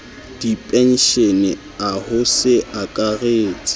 dipenshene a ho se akaretse